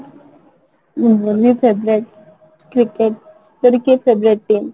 ମୋ Dhoni favourite cricket ତୋର କିଏ Favorite team ?